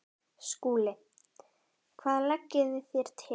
SKÚLI: Hvað leggið þér til?